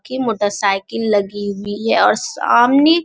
की motorcycle लगी हुई है और सामने --